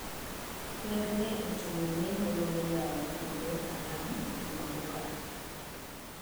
Ker ne otimo lendo mar yawo kuonde alam juma mokalo.